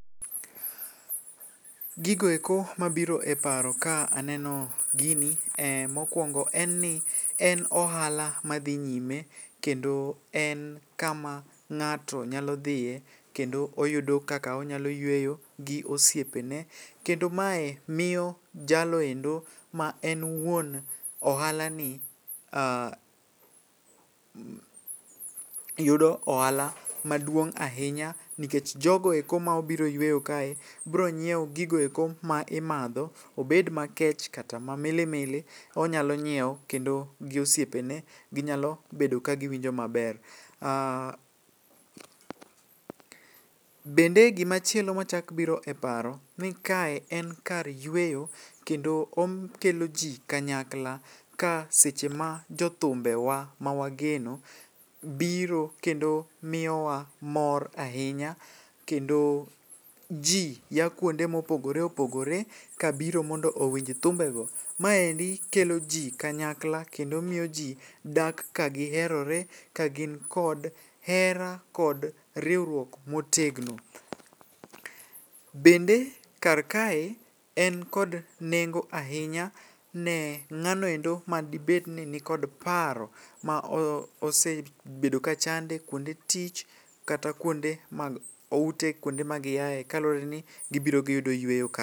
Gigoeko ma biro e paro ka aneno gini, mokwongo en ni en ohala madhi nyime kendo en kama ng'ato nyalo dhiye kendo oyudo kaka onyalo yweyo gi osiepe ne. Kendo mae miyo jaloendo ma en wuon ohala ni yudo ohala maduong' ahinya. Nikech jogoeko ma obiro yweyo kae bro nyiewo gigoeko ma imadho, obed makech kata ma mili mili, onyalo nyiewo kendo gi osiepe ne. Ginyalo bedo ka giwinjo maber. Bende gima chielo machak biro e paro ni kae en kar yweyo kendo okelo ji kanyakla ka seche ma jothumbe wa ma wageno, biro kendo miyowa mor ahinya. Kendo ji ya kuonde mopoogore opogore ka biro mondo owinj thumbe go. Maendi kelo ji kanyakla kendo miyo ji dak ka giherore, kagin kod hera kod riwruok motegno. Bende kar kae en kod nengo ahinya ne ng'anoendo madibed ni nikod paro ma osebedo ka chande kuonde tich kata kuonde mag ute kuonde ma giae kaluwore ni gibiro giyudo yweyo ka.